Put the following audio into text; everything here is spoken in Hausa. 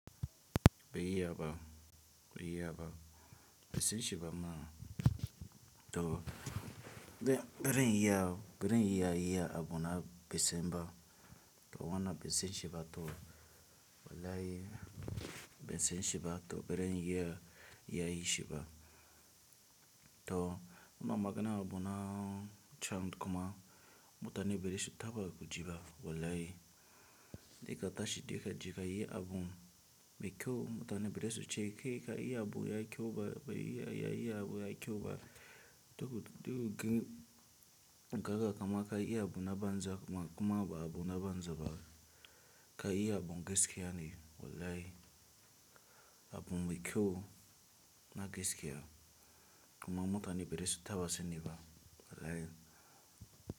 Biyaba, biyaba, ban shiba ma to beren iya, beren iya iya abuna besimba to wana besin shiba to wolayi besin shiba to beren iya iyai shiba. To ima magana abuna chan kuma mutane bara su taɓa gaji ba wolayi. De ka tashi de ka jika iya abun bekyou mutane bereshi che ke ka iya abun ya kyoba, iya iya abun ya kyoba to gaga kama ka iya abun abanza kuma ba abun abanza ba. Ka iya abun geske yani wolayi abun bekyou na gaskiua kuma mutane bereshi taba se nibba wolayi.